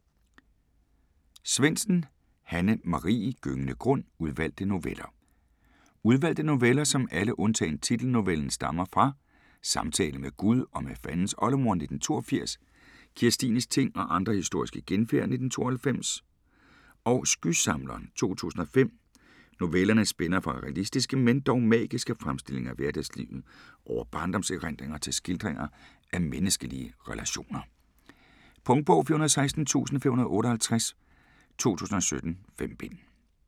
Svendsen, Hanne Marie: Gyngende grund: udvalgte noveller Udvalgte noveller, som alle undtagen titelnovellen stammer fra "Samtale med Gud og med Fandens oldemor" (1982), "Kirstines ting og andre historier om genfærd" (1992) og "Skysamleren" (2005). Novellerne spænder fra realistiske men dog magiske fremstillinger af hverdagslivet over barndomserindringer til skildringer af menneskelige relationer. Punktbog 416558 2017. 5 bind.